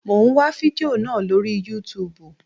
Mo ń wá fidió náà lóri yútubù.